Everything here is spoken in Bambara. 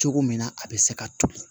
Cogo min na a bɛ se ka toli